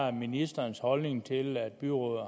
er ministerens holdning til at byrådet